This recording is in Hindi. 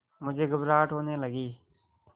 मुझे घबराहट होने लगी